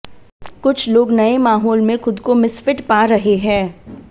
कुछ लोग नए माहौल में खुद को मिसफिट पा रहे हैं